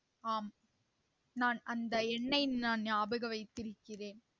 ஆம் நான் அந்த எண்ணை நான் நியாபக வைத்திருக்கிறேன்